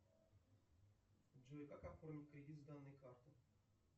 джой как оформить кредит с данной карты